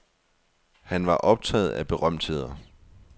Han var optaget af berømtheder.